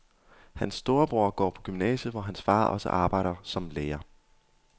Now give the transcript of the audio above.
Hans storebror går på gymnasiet, hvor hans far også arbejder som lærer.